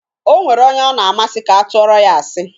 O nwere onye ọ na-amasị ka atụoro ya asị.